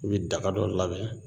I be daga dɔ labɛn